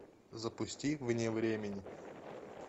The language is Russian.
запусти вне времени